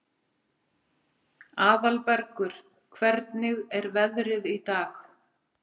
Aðalbergur, hvernig er veðrið í dag?